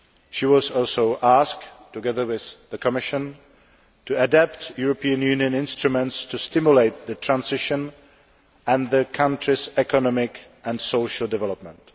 She was also asked, together with the Commission, to adapt European Union instruments to stimulate the transition and the country's economic and social development.